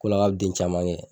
K'o la ka bi den caman kɛ